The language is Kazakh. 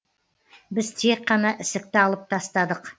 біз тек қана ісікті алып тастадық